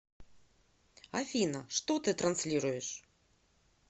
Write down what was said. афина что ты транслируешь